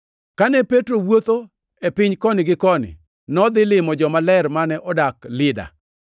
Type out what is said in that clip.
Kane Petro wuotho ei piny koni gi koni, nodhi limo jomaler mane odak Lida.